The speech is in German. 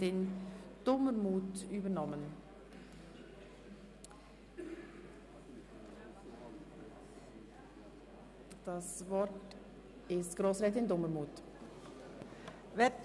Mit dem Angebotsbeschluss ÖV 2018–2021 wird das Angebot der Busverbindung Bützberg–Langenthal ab dem Fahrplanwechsel im Dezember 2017 zu den Hauptverkehrszeiten auf einen Viertelstundentakt verdichtet, so dass sehr attraktive Anschlüsse in Langenthal und Herzogenbuchsee zur Verfügung stehen werden.